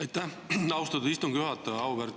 Aitäh, austatud istungi juhataja!